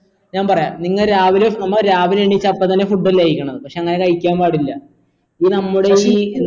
ഞാൻ പറയാ നിങ്ങ രാവിലെ നമ്മ രാവിലെ എണീച്ച അപ്പംതന്നെ food അല്ലെ കഴികണെ പക്ഷെ അങ്ങനെ കഴിക്കാൻ പാടില്ല ഇത് നമ്മുടെ ഈ